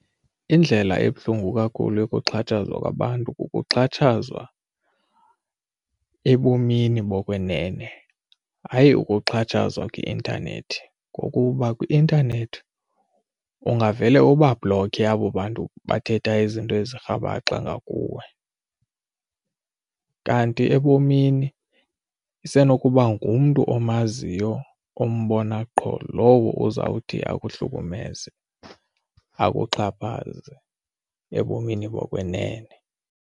Indlela ebuhlungu kakhulu yokuxhatshazwa kwabantu ukuxhatshazwa ebomini bokwenene hayi ukuxhatshazwa kwi-intanethi ngokuba kwi-intanethi ungavele ubabhlokhe abo bantu bathetha izinto ezirhabaxa ngakuwe, kanti ebomini isenokuba ngumntu omaziyo ombona qho lowo uzawuthi ekuhlukumeze akuxhaphaze ebomini bokwenene.